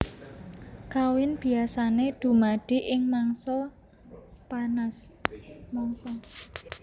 Kawin biasané dumadi ing mangsa panas